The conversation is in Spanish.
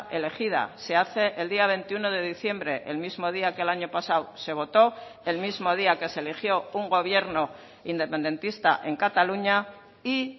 elegida se hace el día veintiuno de diciembre el mismo día que el año pasado se votó el mismo día que se eligió un gobierno independentista en cataluña y